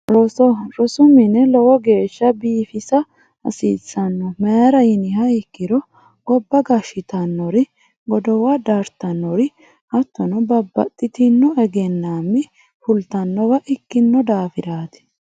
Roso rosu mine lowo geeshsha biifisa hasiissanno mayra yiniha ikkiro gobba gashshitannori godowa dartannori hattono babbaxxitino egennaammi fultannowa ikkino daafiraati